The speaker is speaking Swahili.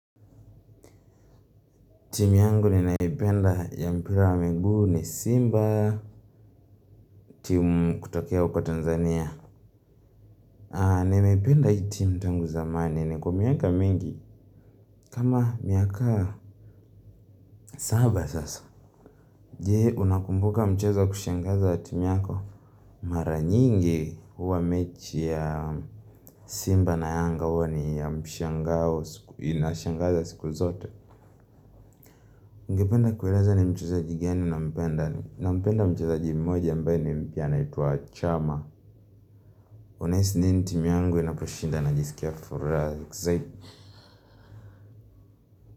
Timu yangu ninayopenda ya mpira wa miguu ni Simba timu kutokea Tanzania ninaipenda hii timu tangu zamani, imekuwa miaka mingi, kama miaka saba sasa. Jee unakumbuka mchezo wa kushangaza ya timu yako? Mara nyingi huwa mechi ya Simba na yanga huwa ni ya mshangao, ina shangaza siku zote ningependa kuwaeleza ni mchezaji gani na mpenda. Na mpenda mchezaji mmoja ambaye ni mpya anaitwa Chama. Una hisi nini timu yangu inaposhinda, najisikia furaha.